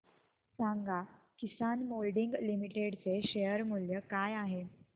सांगा Kisan moulding limited चे share मूल्य काय आहे